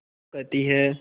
वो कहती हैं